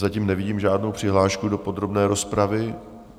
Zatím nevidím žádnou přihlášku do podrobné rozpravy.